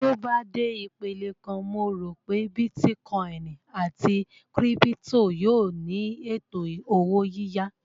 Tí ó bá dé ipele kan, mo rò pé bítíkọìnì àti kírípítò yóò ní ètò owó yíyá